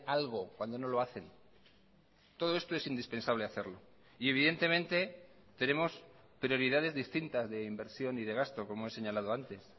algo cuando no lo hacen todo esto es indispensable hacerlo y evidentemente tenemos prioridades distintas de inversión y de gasto como he señalado antes